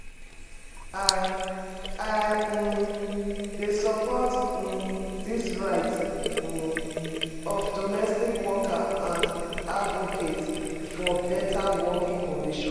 I I um dey support um di rights um of domestic workers and advocate for beta working conditions.